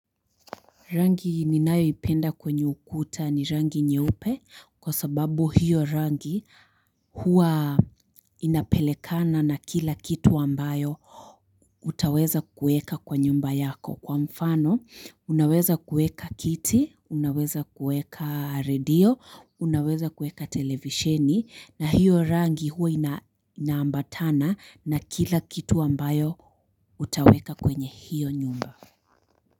Rangi ninayo ipenda kwenye ukuta ni rangi nyeupe kwa sababu hiyo rangi huwa inapelekana na kila kitu ambayo utaweza kueka kwa nyumba yako kwa mfano unaweza kueka kiti unaweza kueka radio unaweza kueka televisheni na hiyo rangi huwa inaambatana na kila kitu ambayo utaweka kwenye hiyo nyumba.